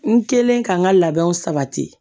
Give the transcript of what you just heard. N kɛlen ka n ka labɛnw sabati